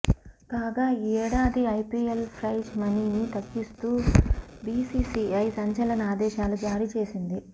కాగా ఈ ఏడాది ఐపీఎల్ ప్రైజ్ మనీని తగ్గిస్తూ బీసీసీఐ సంచలన ఆదేశాలు జారీ చేసింది